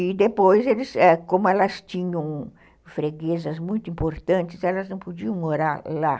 E depois, eles, ãh, como elas tinham freguesas muito importantes, elas não podiam morar lá.